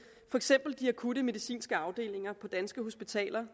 for eksempel de akutte medicinske afdelinger på danske hospitaler